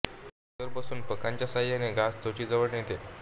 ती फांदीवर बसून पंखांच्या सहाय्याने घास चोचीजवळ नेते